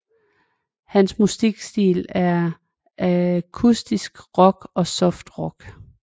Hans musikstil er akustisk rock og soft rock